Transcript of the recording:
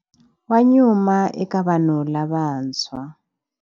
Wa nyuma eka vanhu lavantshwa.